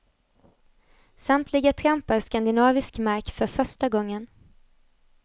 Samtliga trampar skandinavisk mark för första gången.